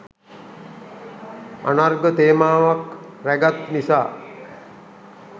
අනර්ග තේමාවක් රැගත් නිසා